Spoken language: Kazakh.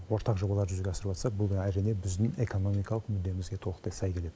ортақ жобаларды жүзеге асырыватса бұл әрине біздің экономикалық мүддемізге толықтай сай келеді